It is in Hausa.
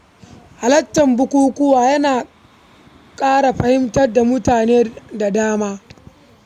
Halartar bukukuwa yana ƙarfafa zumunci da fahimta tsakanin mutane da dama.